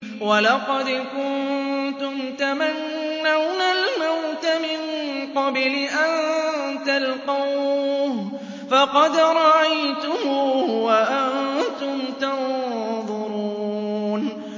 وَلَقَدْ كُنتُمْ تَمَنَّوْنَ الْمَوْتَ مِن قَبْلِ أَن تَلْقَوْهُ فَقَدْ رَأَيْتُمُوهُ وَأَنتُمْ تَنظُرُونَ